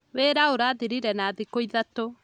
Wĩra ũrathirire na thikũithatũ